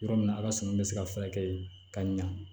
Yɔrɔ min na a ka suman bɛ se ka furakɛ ka ɲɛ